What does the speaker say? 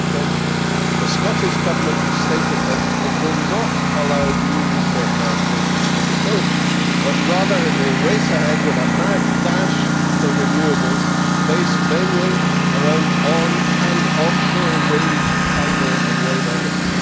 2020. The Scottish Government has stated that it will not allow new nuclear power stations to be built, but rather it will race ahead with a mad dash for renewables based mainly around onshore and offshore wind, tidal and wave energy.